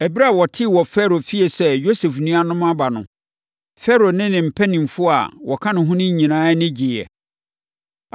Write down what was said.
Ɛberɛ a wɔtee wɔ Farao fie sɛ Yosef nuanom no aba no, Farao ne ne mpanimfoɔ a wɔka ne ho no nyinaa ani gyeeɛ.